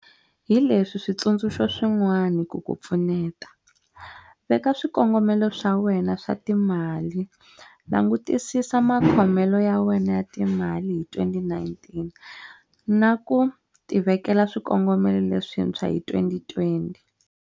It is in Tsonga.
Hileswi switsundzuxo swin'wana ku ku pfuneta- Veka swikongomelo swa wena swa timali Langutisisa makhome lo ya wena ya timali hi 2019 na ku tivekela swikongomelo leswintshwa hi 2020.